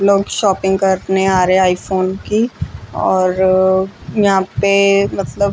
लोग शॉपिंग करने आ रहे हैं आई फोन की और यहां पे मतलब--